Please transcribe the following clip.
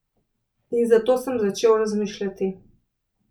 In zato sem začel razmišljati.